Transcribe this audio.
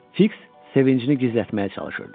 Fiks sevincini gizlətməyə çalışırdı.